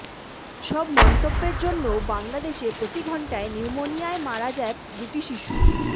সব মন্তব্যের জন্য বাংলাদেশে প্রতি ঘণ্টায় নিউমোনিয়ায় মারা যায় দুইটি শিশু